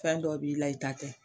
Fɛn dɔ b'i la, i ta tɛ